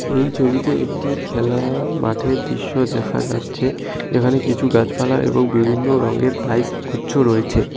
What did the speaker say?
এই ছবিতে একটি খেলার মাঠের দৃশ্য দেখা যাচ্ছে এখানে কিছু গাছপালা এবং বিভিন্ন রঙের পাইপ গুচ্ছ রয়েছে।